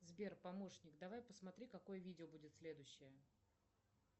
сбер помощник давай посмотри какое видео будет следующее